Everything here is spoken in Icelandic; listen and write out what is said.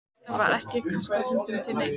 Það var ekki kastað höndum til neins.